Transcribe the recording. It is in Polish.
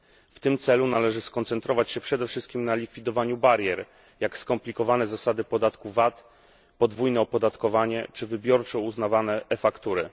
W tym celu należy skoncentrować się przede wszystkim na likwidowaniu barier takich jak skomplikowane zasady podatku VAT, podwójne opodatkowanie czy wybiórczo uznawane faktury.